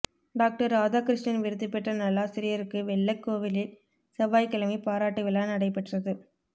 doctor Radhakrishnan விருது பெற்ற நல்லாசிரியருக்குப் வெள்ளக்கோவிலில் செவ்வாய்க்கிழமை பாராட்டு விழா நடைபெற்றது